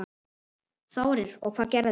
Þórir: Og hvað gerist?